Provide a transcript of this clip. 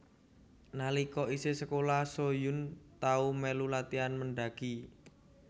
Nalika isih sekolah Soo Hyun tau melu latian mendaki